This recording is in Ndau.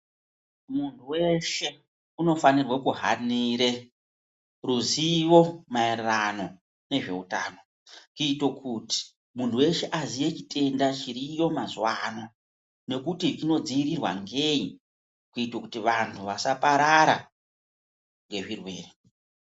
Munhu weshe, unofanirwe kuhanire ruzivo maererano ngezveutano kuite kuti munhu weshe aziye chitenda chiriyo mazuwaano, nekuti chinodziirirwa ngei kuite kuti vanhu vasaparara ngezvirwere.